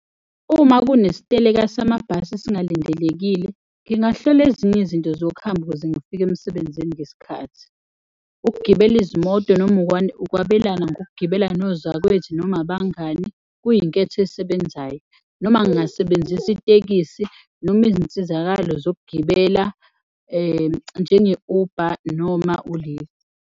Uma kunesiteleka samabhasi esingalindelekile, ngingahlela ezinye izinto zokuhamba ukuze ngifike emsebenzini ngesikhathi. Ukugibela izimoto noma ukwabelana ngokugibela nozakwethu noma abangani kuyinketho esebenzayo noma ngingasebenzisa itekisi noma izinsizakalo zokugibela njenge-Uber noma u-lift.